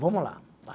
Vamos lá.